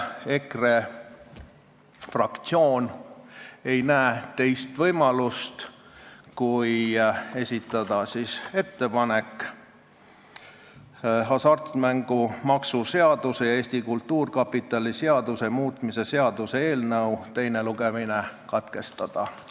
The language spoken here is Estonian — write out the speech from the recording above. EKRE fraktsioon ei näe teist võimalust kui esitada ettepanek hasartmängumaksu seaduse ja Eesti Kultuurkapitali seaduse muutmise seaduse eelnõu teine lugemine katkestada.